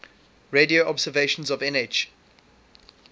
radio observations of nh